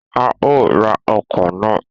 A o ra ọkọ na.